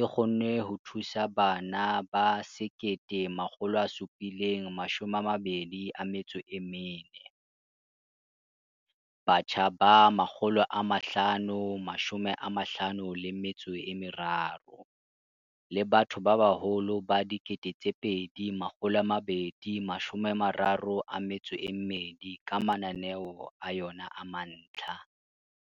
e kgonne ho thusa bana ba 1 724, batjha ba 553 le batho ba baholo ba 2 232 ka mananeo a yona a mantlha.